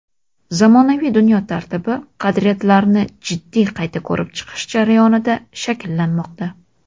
zamonaviy dunyo tartibi qadriyatlarini jiddiy qayta ko‘rib chiqish jarayonida shakllanmoqda.